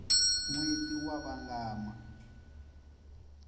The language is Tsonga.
nweti wa vangama